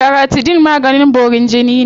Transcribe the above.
Laratidine maganin borin jini ne.